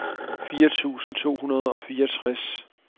firs tusind to hundrede og fireogtres